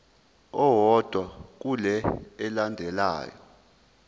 owodwa kule elandelayo